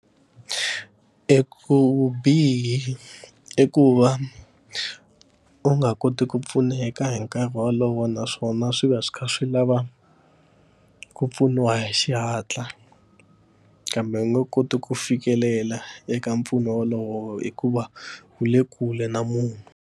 I ku vubihi i ku va u nga koti ku pfuneka hi nkarhi wolowo naswona swi va swi kha swi lava ku pfuniwa hi xihatla kambe u nga koti ku fikelela eka mpfuno wolowo hikuva wu le kule na munhu.